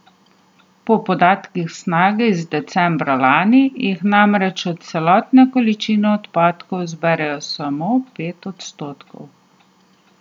Po podatkih Snage iz decembra lani jih namreč od celotne količine odpadkov zberejo samo pet odstotkov.